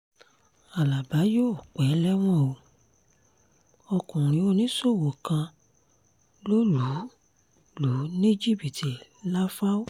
alábà yóò pẹ́ lẹ́wọ̀n o ọkùnrin oníṣòwò kan lọ lù lù ní jìbìtì làfáò